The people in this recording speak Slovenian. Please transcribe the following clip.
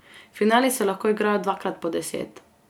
Finali se lahko igrajo dvakrat po deset.